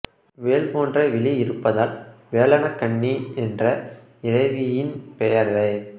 வேல் போன்ற விழி இருப்பதால் வேலன கண்ணிஎன்ற இறைவியின் பெயரே